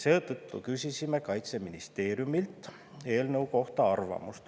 Seetõttu küsisime Kaitseministeeriumilt eelnõu kohta arvamust.